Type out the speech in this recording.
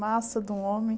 Massa de um homem.